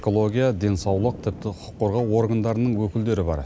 экология денсаулық тіпті құқық қорғау органдарының өкілдері бар